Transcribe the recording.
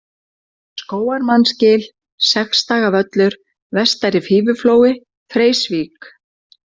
Skógarmannsgil, Sexdagavöllur, Vestari-Fífuflói, Freysvík